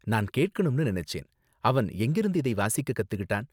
நான் கேக்கணும்னு நினைச்சேன், அவன் எங்கிருந்து இதை வாசிக்க கத்துக்கிட்டான்?